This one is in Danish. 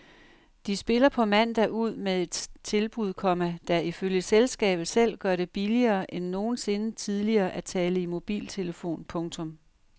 De spiller på mandag ud med et tilbud, komma der ifølge selskabet selv gør det billigere end nogensinde tidligere at tale i mobiltelefon. punktum